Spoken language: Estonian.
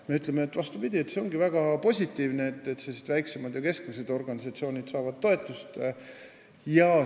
Meie ütleme, et see olekski väga positiivne, kui väiksemad ja keskmised organisatsioonid saaksid toetust.